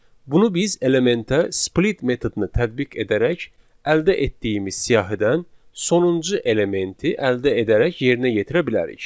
Bunu biz elementə split metodunu tətbiq edərək əldə etdiyimiz siyahıdən sonuncu elementi əldə edərək yerinə yetirə bilərik.